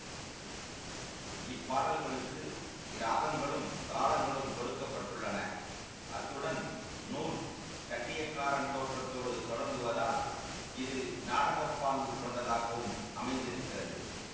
இப் பாடல்களுக்கு இராகங்களும் தாளங்களும் கொடுக்க பட்டுள்ளன அத்துடன் நூல் கட்டியக்காரன் தோற்றத்தோடு தொடங்குவதால் இது நாடக பாங்கு கொண்டதாகவும் அமைந்திருக்கிறது